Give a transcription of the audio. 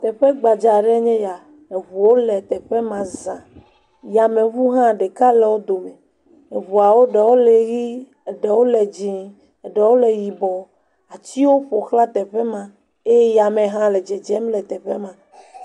Teƒe gbadza aɖee nye ya. Eŋuwo le teƒe ma za. Yameŋu hã ɖeka le wo dome. Eŋuawo ɖewo le ʋie, eɖewo le dze, eɖewo le yibɔ. Atiwo ƒoxla teƒe ma eye yame hã le dzedzem le teƒe ma.